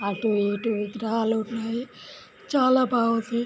అటు ఇటు విగ్రహాలు ఉన్నాయి చాలా బాగుంది.